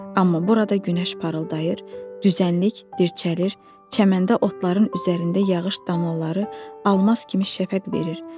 Amma burada günəş parıldayır, düzənlik dirçəlir, çəməndə otların üzərində yağış damlaları almaz kimi şəfəq verir.